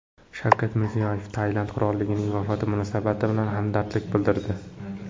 Shavkat Mirziyoyev Tailand qirolining vafoti munosabati bilan hamdardlik bildirdi.